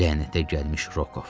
Lənətə gəlmiş Rokov.